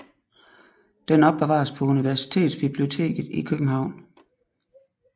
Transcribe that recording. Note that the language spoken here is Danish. Den opbevares på Universitetsbiblioteket i København